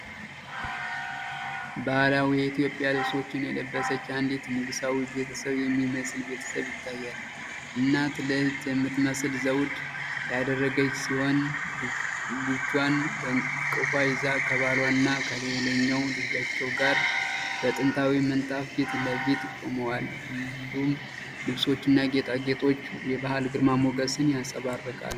ባህላዊ የኢትዮጵያ ልብሶችን የለበሰች አንዲት ንጉሣዊ ቤተሰብ የሚመስል ቤተሰብ ይታያል። እናት ልዕልት የምትመስል ዘውድ ያደረገች ሲሆን፣ ልጇን በእቅፏ ይዛ ከባሏና ከሌላኛው ልጃቸው ጋር በጥንታዊ ምንጣፍ ፊት ለፊት ቆመዋል። ሁሉም ልብሶችና ጌጣጌጦች የባህል ግርማ ሞገስን ያንጸባርቃሉ።